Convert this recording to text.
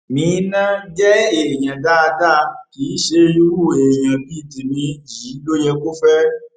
meenah jẹ èèyàn dáadáa kì í ṣe irú èèyàn bíi tèmi yìí ló yẹ kó fẹ